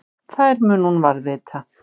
Þær mun hún varðveita.